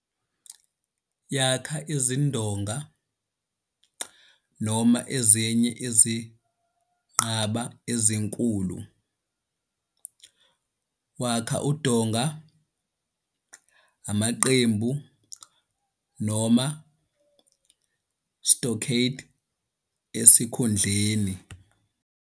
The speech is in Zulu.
Yakha izindonga noma ezinye izinqaba ezinkulu, wakha udonga, amaqembu noma stockade esikhundleni.